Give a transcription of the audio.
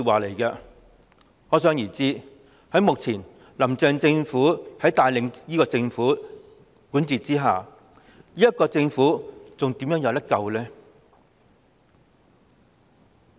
可想而知，現時由"林鄭"帶領和管治的政府怎會有救呢？